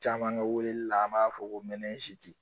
Caman bɛ weleli la an b'a fɔ ko